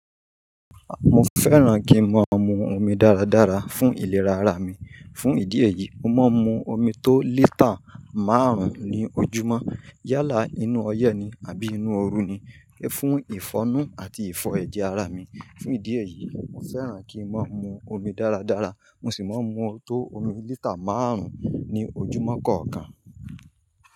Mo fẹ́ràn kí n máa mu omi dáradára fún ìlera ara mi. Fún ìdí èyí, mo máa ń mu omi tó litre márùn-ún ní ojúmọ́. Yálà nínú ọyẹ́ ni àbí inú ooru ni. Fún ìfọ̀nu àti ìfọ̀ ẹ̀jẹ̀ ara mi. Fún ìdí èyí, mo fẹ́ràn kí n máa mu omi dáradára. Mo sì máa ń mu tó omi litre márùn-ún ní ojúmọ́ kọ̀ọ̀kan.